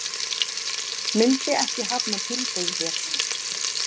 Myndi ekki hafna tilboði hér